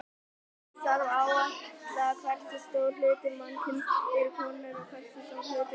Eins þarf að áætla hversu stór hluti mannkyns eru konur og hversu stór hluti karlar.